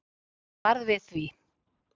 Ég varð við því.